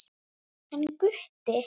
Hann Gutti?